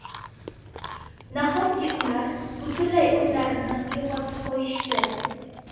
Nahotki ular butunlay o‘zlarini yo‘qotib qo‘yishdi?